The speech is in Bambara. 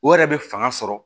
O yɛrɛ be fanga sɔrɔ